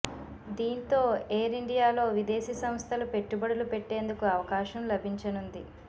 దీంతో ఏయిర్ ఇండియాలో విదేశీ సంస్థలు పెట్టుబడులు పెట్టేందుకు అవకాశం లభించనుంది